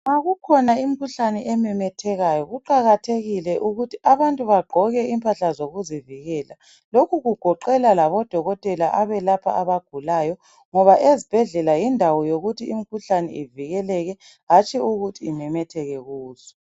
Nxa kukhona imikhuhlane ememethekayo kuqakathekile ukuthi abantu bagqoke imphahla zokubavikela. Lokhu kugoqela ngabo dokotela abalapha abagulayo, ngoba ezibhedlela yindawo yokuthi imikhuhlane ivikeleke hatshi yokuthi imemetheke kuzo.